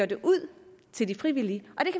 det ud til det frivillige